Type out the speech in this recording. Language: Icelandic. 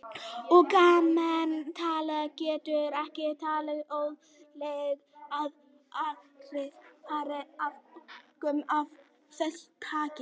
Og almennt talað getur ekki talist óeðlilegt að aðrir fari að óskum af þessu tagi.